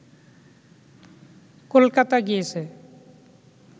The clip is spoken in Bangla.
কলকাতা গিয়েছে